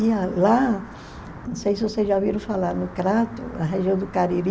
lá, não sei se vocês já ouviram falar, no Crato, na região do Cariri,